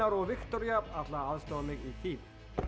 og Viktoría ætla að aðstoða mig í því